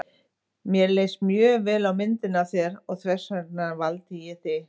Mér leist mjög vel á myndina af þér og þess vegna valdi ég þig.